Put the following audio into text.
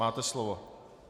Máte slovo.